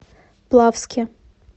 плавске